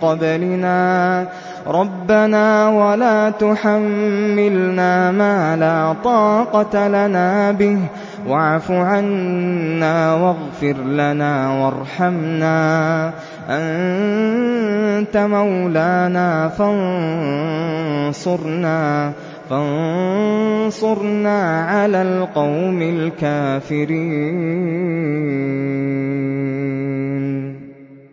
قَبْلِنَا ۚ رَبَّنَا وَلَا تُحَمِّلْنَا مَا لَا طَاقَةَ لَنَا بِهِ ۖ وَاعْفُ عَنَّا وَاغْفِرْ لَنَا وَارْحَمْنَا ۚ أَنتَ مَوْلَانَا فَانصُرْنَا عَلَى الْقَوْمِ الْكَافِرِينَ